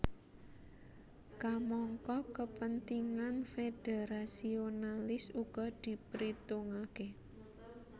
Kamangka kepentingan federasionalis uga dipritungake